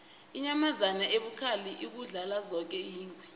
inyamazana ebukhali ukudlula zoke yingwe